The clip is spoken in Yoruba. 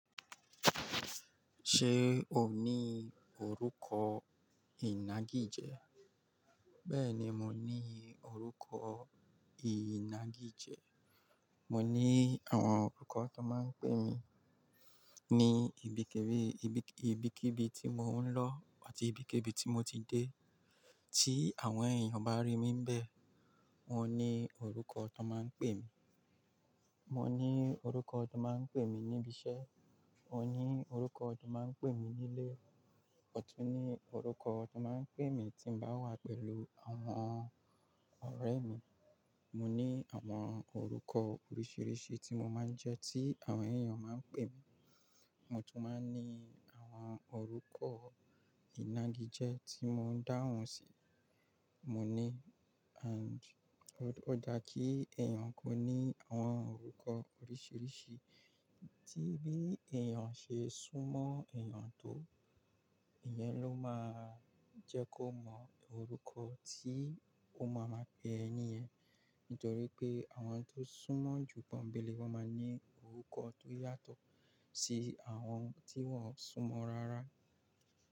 Ṣé o ní orúkọ ìnagijẹ? Bẹ́ẹ̀ni, mo ní orúkọ ìnagijẹ. Mo ní àwọn orúkọ ti won máa ń pè mí ní ibikíbi tí mò ń lọ àti ibikíbi tí mo ti dé. Tí àwọn èèyàn bá rí mi n bẹ́ẹ̀, wọ́n ní orúkọ ti won máa ń pè mí. Mo ní orúkọ ti won máa ń pè mí níbi iṣẹ́, mo ní orúkọ ti won máa ń pè mí nílé, mo tún ní orúkọ ti won máa ń pè mí tí mo bá wà pẹ̀lú àwọn ọ̀rẹ́ mi. Mo ní àwọn orúkọ oríṣìíríṣìí tí mo máa ń jẹ́ tí àwọn èèyàn máa ń pè mí. Mo tún máa ń ní àwọn orúkọ ìnagijẹ tí mò ń dáhùn sí. Mo ní and ó dà kí èèyàn kó ní àwọn orúkọ oríṣìríṣì. Tí bí èèyàn ṣe súnmọ́ èèyàn tó, ìyẹn ló máa jẹ́ kó mọ orúkọ tí ó máa ma pe ẹni yẹ̀n. Nítorí pé àwọn tó súnmọ́ jù pọ́ńbélé wọ́n máa ní orúkọ tó yàtọ̀ sí àwọn tí wọ́n ò súnmọ́ rárá.